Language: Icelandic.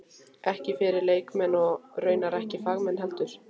Ekki fyrir leikmenn- og raunar ekki fagmenn heldur.